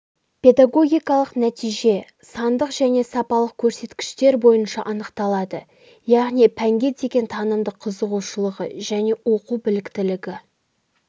педагогикалық нәтиже сандық және сапалық көрсеткіштер бойынша анықталады яғни пәнге деген танымдық қызығушылығы және оқу біліктілігі